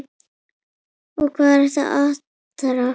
Og hvað er atarna?